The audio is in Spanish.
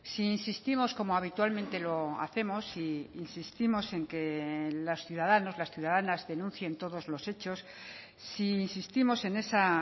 si insistimos como habitualmente lo hacemos si insistimos en que los ciudadanos las ciudadanas denuncien todos los hechos si insistimos en esa